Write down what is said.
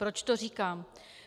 Proč to říkám?